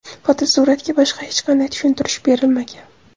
fotosuratga boshqa hech qanday tushuntirish berilmagan.